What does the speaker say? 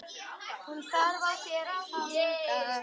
Hann þarf á þér að halda.